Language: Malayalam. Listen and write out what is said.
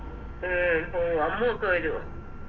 ഉം പോവോ അമ്മു ഒക്കെ വരുവോ